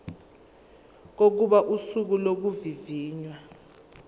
kokuba usuku lokuvivinywa